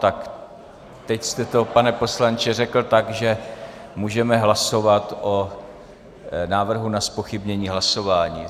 Tak teď jste to, pane poslanče, řekl tak, že můžeme hlasovat o návrhu na zpochybnění hlasování.